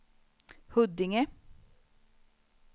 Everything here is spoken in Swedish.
Huddinge